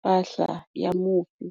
mpahla ya mufi.